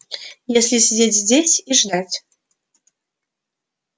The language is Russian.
если сидеть здесь и ждать